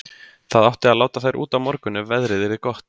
Það átti að láta þær út á morgun ef veðrið yrði gott.